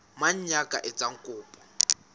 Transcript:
mang ya ka etsang kopo